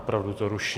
Opravdu to ruší.